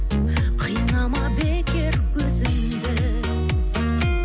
қинама бекер өзіңді